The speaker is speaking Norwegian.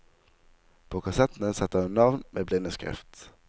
På kassettene setter hun navn med blindeskrift.